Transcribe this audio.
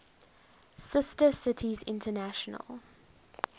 sister cities international